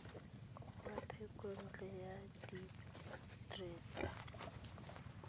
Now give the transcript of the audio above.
wa thekontle ya dire tsa